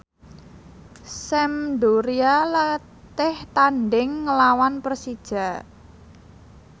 Sampdoria latih tandhing nglawan Persija